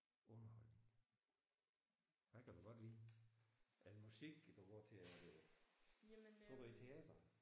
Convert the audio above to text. Underholdning. Hvad kan du godt lide? Er det musik du går til eller er det? Går du i teateret?